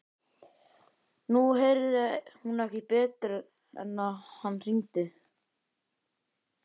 Nú heyrði hún ekki betur en að hann hringdi.